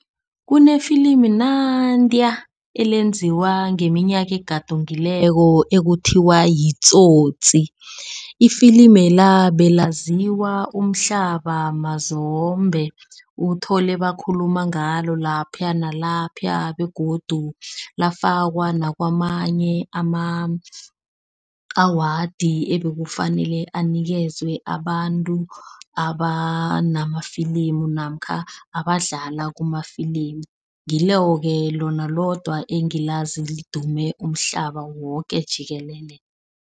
Kunefilimini nantiya elenziwa ngeminyaka egadungileko ekuthiwa yiTsotsi. Ifilimela belaziwaya umhlaba mazombe. Uthole bakhuluma ngalo lapha nalapha begodu lafakwa nakwamanye ama-awadi ebekufanele anikezwe abantu abanamafilimu namkha abadlala kumafilimu. Ngilo-ke lona lodwa engilazi lidume umhlaba woke jikelele.